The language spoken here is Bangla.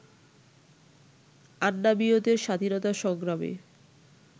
আন্নামীয়দের স্বাধীনতা সংগ্রামে